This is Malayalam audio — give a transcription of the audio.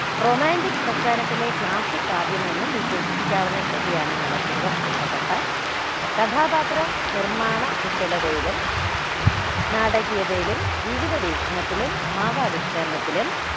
romantic പ്രാസ്ഥാനത്തിലെ classic കാവ്യമെന്നും വിശേഷിപ്പിക്കാവുന്ന കൃതിയാണ് നളചരിതം ആട്ടക്കഥ കഥാപാത്ര നിർമ്മാണ കുശലതയിലും നാടകീയതയിലും ജീവിത വീക്ഷണത്തിലും ഭാവ ആവിഷ്കരണത്തിലും